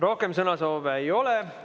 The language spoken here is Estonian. Rohkem sõnasoove ei ole.